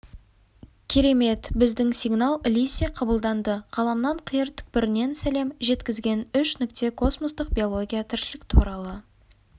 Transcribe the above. керемет біздің сигнал лезде қабылданды ғаламның қиыр түкпірінен сәлем жеткізген үш нүкте космостық биология тіршілік туралы